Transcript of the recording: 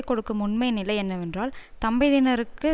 கொடுக்கும் உண்மை நிலை என்னவென்றால் தம்பதியினருக்கு